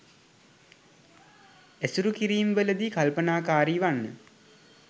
ඇසුරු කිරීම් වලදී කල්පනාකාරි වන්න.